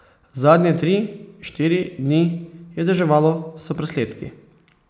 Zadnje tri, štiri dni je deževalo s presledki.